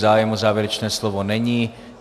Zájem o závěrečné slovo není.